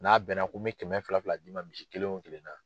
N'a bɛn na ko n bɛ kɛmɛ fila fila d'i ma misi kelen o kelen na.